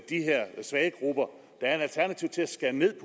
svage grupper der er et alternativ til at skære ned